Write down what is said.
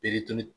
Perituli